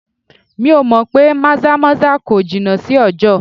Mi ò mọ̀ pé maza-maza kò jìnà sí ọjọ.